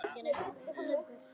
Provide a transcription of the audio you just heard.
Því ber að fagna.